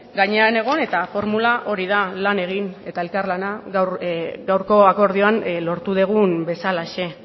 gainean egon eta formula hori da lan egin eta elkarlana gaurko akordioan lortu dugun bezalaxe